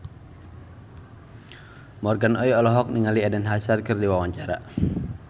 Morgan Oey olohok ningali Eden Hazard keur diwawancara